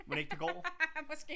Mon ikke det går